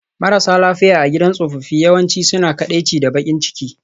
Marasa lafiya a gidan tsofaffi yawanci suna kaɗaici da baƙin ciki